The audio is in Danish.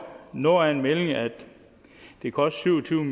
noget af en melding at det kostede tre